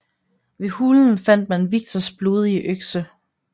Ved hulen fandt man Viktors blodige økse